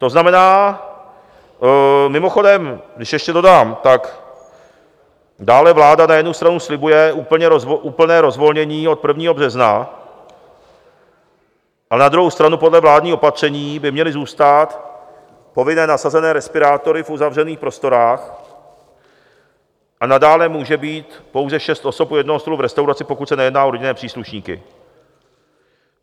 To znamená - mimochodem, když ještě dodám, tak dále vláda na jednu stranu slibuje úplné rozvolnění od 1. března, ale na druhou stranu podle vládních opatření by měly zůstat povinné nasazené respirátory v uzavřených prostorách, a nadále může být pouze šest osob u jednoho stolu v restauraci, pokud se nejedná o rodinné příslušníky.